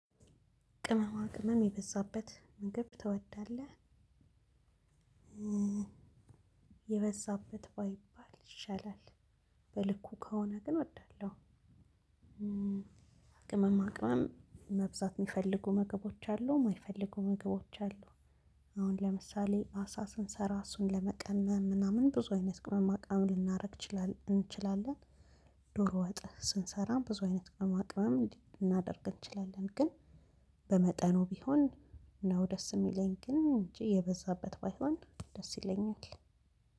ቅመማ ቅመም የበዛበት ምግብ ትወዳለህ? የበዛበት ባይባል ይሻላል በልኩ ከሆነ ግን እወዳለው። ቅመም መብዛት ሚፈልጉ ምግቦች አሉ ማይፈልጉ መገቦች አሉ። አሁን ለምሳሌ አሳ ስንሰራ እሱን ለመቀመም ምናምን ብዙ አይነት ቅመማ ቅመም ልናደርግ እንችላለን። ዶሮ ወጥ ስንሰራም ብዙ አይነት ቅመማ ቅመም ልናደርግ እንችላለን ግን። በመጠኑ ቢሆን ነው ደስ እሚለኝ ግን እንጂ የበዛበት ባይሆን ደስ ይለኛል።